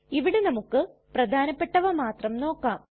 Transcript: ഇവിടെ നമുക്ക് പ്രധാനപെട്ടവ മാത്രം നോക്കാം